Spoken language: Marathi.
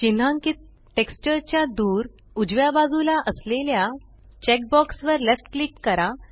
चिन्हांकीत टेक्सचर च्या दूर उजव्या बाजूला असलेल्या चेक बॉक्स वर लेफ्ट क्लिक करा